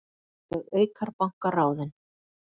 Örlög Eikar banka ráðin